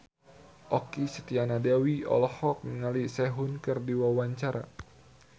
Okky Setiana Dewi olohok ningali Sehun keur diwawancara